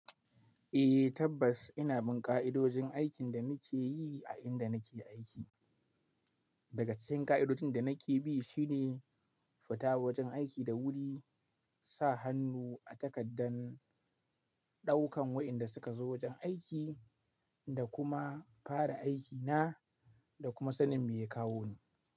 Eh tabbas ina bin ƙa'idojin aikin da nake yi a inda nake aiki. Daga cikin ƙa'idojin da nake bi shine fita wurin aiki da wuri, sa hannu a takaddan ɗaukan wa'inda suka zo wajen aiki da kuma fara aikina da kuma sanin me ya kawo ni.